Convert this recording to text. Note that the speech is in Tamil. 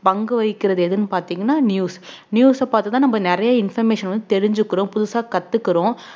பங்கு வகிக்கிறது எதுன்னு பார்த்தீங்கன்னா news news அ பார்த்து தான் நம்ம நிறைய information வந்து தெரிஞ்சுக்கிறோம் புதுசா கத்துக்கிறோம்